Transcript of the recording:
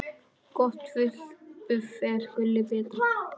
Gott buff er gulli betra.